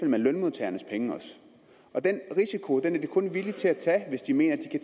med lønmodtagernes penge og den risiko er de kun villige til at tage hvis de mener at